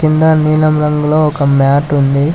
ఈడ నీలం రంగులో ఒక మ్యాట్ ఉంది.